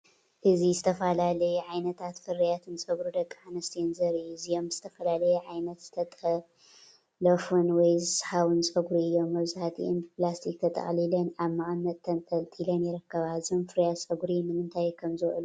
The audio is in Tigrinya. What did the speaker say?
እዚ ዝተፈላለዩ ዓይነታትን ፍርያትን ጸጉሪ ደቂ ኣንስትዮ ዘርኢ እዩ። እዚኦም ብዝተፈላለየ ዓይነት ዝተለጠፉን ወይ ዝስሓቡን ጸጉሪ እዮም። መብዛሕትአን ብፕላስቲክ ተጠቕሊለን ኣብ መቐመጢ ተንጠልጢለን ይርከባ። እዞም ፍርያት ጸጉሪ ንምንታይ ከም ዝውዕሉ ትፈልጡ ዶ?